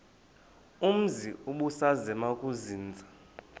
umzi ubusazema ukuzinza